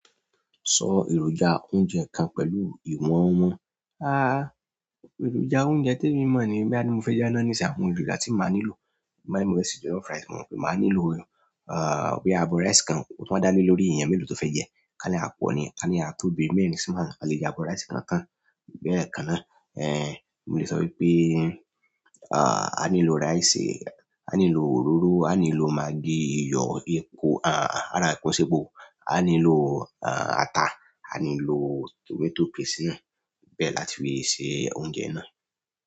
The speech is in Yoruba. Sọ èròjà oúnjẹ kan pẹ̀lú ìwọ̀n wọn. À, èròjà oúnjẹ tí emi mọ̀ nígbà ti mo fẹ́ dáná nisin àwọn èròjà tí màá nílò. Bí mó fẹ́ ṣe jọ̀lọ́fú ráìsì, màá nílò, ah, bí agolo ráìsì kan, o run wa dá lé lórí èèyàn mélòó tó fẹ́ jẹ́, ká ní a pọ̀ ní, ká ní a tóbi mẹ́rin sí márùn a lè jẹ́ abọ ráìsì kan tan, lẹ́ẹ̀ kan ná. Eh, mo lè sọ wípé, ah, a nílò ráìsì, a nílò òróró, a nílò magí, iyọ̀, epo, ah, ara epo sépò, a nílò, ah, ata, a nílò tomato paste náà bẹ́ẹ̀ láti fi ṣe oúnjẹ náà.